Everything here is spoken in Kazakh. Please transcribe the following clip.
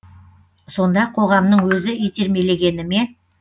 сонда қоғамның өзі итермелегені ме